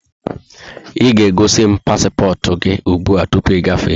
Ị ga-egosimu paspọtụ gị ụgbụa tụpụ ị gafee!